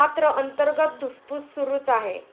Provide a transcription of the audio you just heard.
मात्र अंतर्गत धुसफूस सुरुच आहे.